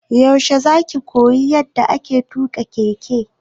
Yaushe za ka koyi yanda ake tuƙa keke?